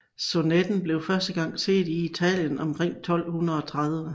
Sonetten blev første gang set i Italien omkring år 1230